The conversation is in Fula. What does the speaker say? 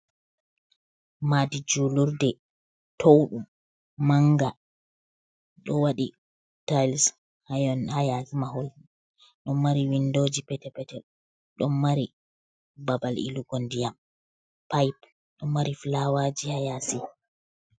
"Maɗi julurde" Towɗum manga ɗo wadi tayis ayon ha yasi mahol ɗon mari windoji petel petel ɗon mari babal ilugo ndiyam paipe ɗo mari fulawaji ha yasi.